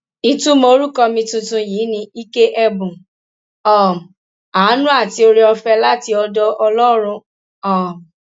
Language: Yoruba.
ìtumọ orúkọ mi tuntun yìí ni ike ẹbùn um àánú àti ooreọfẹ láti ọdọ ọlọrun um